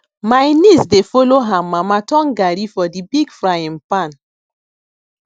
my niece dey follw her mama turn garri for di big frying pan